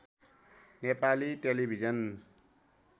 Nepali television